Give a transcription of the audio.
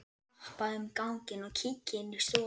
Vappa um ganginn og kíki inn í stofur.